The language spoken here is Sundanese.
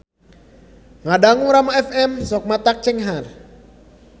Ngadangu Rama FM sok matak cenghar